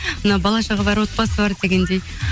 мына бала шаға бар отбасы бар дегендей